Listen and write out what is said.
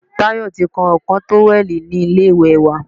Tayo ti kán ìkọ́ tówẹ̀lì ni ilé ìwẹ̀ wa.